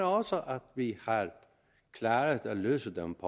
også at vi har klaret at løse dem